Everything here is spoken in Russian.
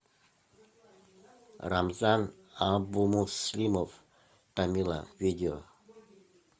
рамзан абумуслимов тамила видео